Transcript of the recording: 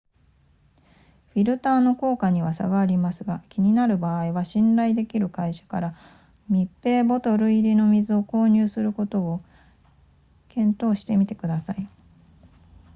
フィルターの効果には差がありますが気になる場合は信頼できる会社から密閉ボトル入りの水を購入することを検討してみてください